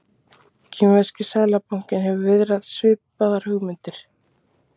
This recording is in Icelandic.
Kínverski seðlabankinn hefur viðrað svipaðar hugmyndir.